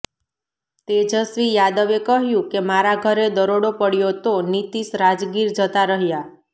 તેજસ્વી યાદવે કહ્યું કે મારા ઘરે દરોડો પડ્યો તો નીતિશ રાજગીર જતા રહ્યાં